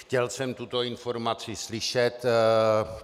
Chtěl jsem tuto informaci slyšet.